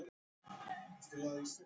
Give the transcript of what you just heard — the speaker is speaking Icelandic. Nema hvort tveggja væri.